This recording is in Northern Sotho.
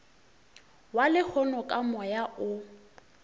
wa lehono ka moya o